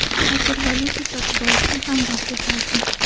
Hozir valyuta sotib olishni ham boshlashardi.